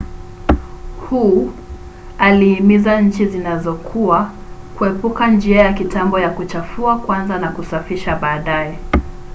hu aliimiza nchi zinazokua kuepuka njia ya kitambo ya kuchafua kwanza na kusafisha baadaye.’’